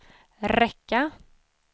räcka